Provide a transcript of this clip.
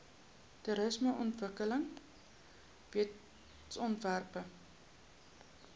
toerismeontwikkelingwetsontwerpe